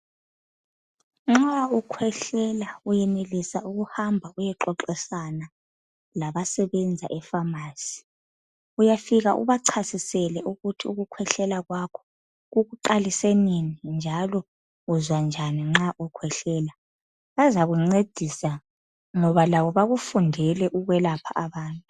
Nxa ukhwehlela uyenelisa ukuhamba uyaxoxisana labasebenza efamasi. Uyafika ubachasisele ukuthi ukukhwehlela kwakho kukuqalise nini njalo uzwanjani nxa ukhwehlela bazakuncedisa ngoba labo bakufundele ukwelapha abantu